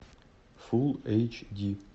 фул эйч ди